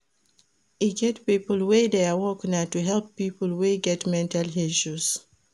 E get pipo wey their work na to help pipo wey get mental health issues.